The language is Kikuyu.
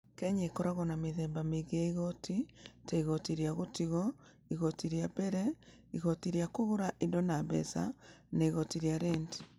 Kenya ĩkoragwo na mĩthemba mĩingĩ ya igooti, ta igooti rĩa gũtigwo, igooti rĩa mbere, igooti rĩa kũgũra indo na mbeca, na igooti rĩa renti.